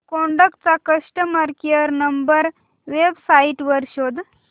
Kodak चा customer care number website वर शोध